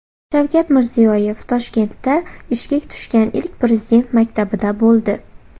Shavkat Mirziyoyev Toshkentda ishga tushgan ilk Prezident maktabida bo‘ldi.